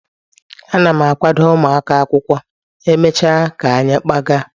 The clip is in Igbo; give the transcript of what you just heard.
Ana m akwado ụmụaka akwụkwọ, e mechaa ka anyị kpaaga